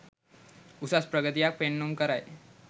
උසස් ප්‍රගතියක් පෙන්නුම් කරයි.